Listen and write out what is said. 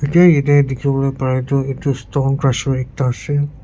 etya yatae dikhiwolae pare toh edu stone crusher ekta ase.